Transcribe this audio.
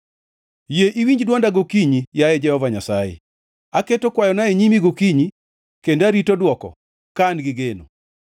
Yie iwinj dwonda gokinyi, yaye Jehova Nyasaye; aketo kwayona e nyimi gokinyi, kendo arito dwoko ka an gi geno.